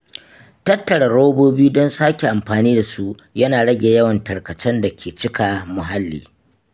Tattara robobi don sake amfani da su yana rage yawan tarkacen da ke cika muhalli.